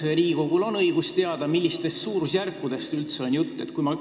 Ja kas Riigikogul on õigus teada, millistest suurusjärkudest on üldse jutt?